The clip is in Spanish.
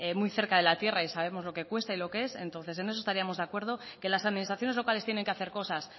muy cerca de la tierra y sabemos lo que cuesta y lo que es entonces en eso estaríamos de acuerdo que las administraciones locales tienen que hacer cosas